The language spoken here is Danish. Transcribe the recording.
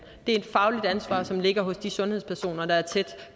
er et fagligt ansvar som ligger hos de sundhedspersoner der er tæt